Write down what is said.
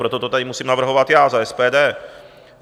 Proto to tady musím navrhovat já za SPD.